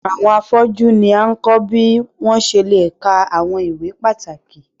Awọn afọju ni a kọ bi wọn ṣe le kà awọn ìwé pàtàkì